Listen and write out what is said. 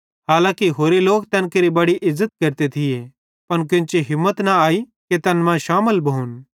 हालांकी होरे लोक तैन केरि बड़ी इज़्ज़त केरते थिये पन केन्ची हिम्मत न आई कि तैन मां शामिल भोन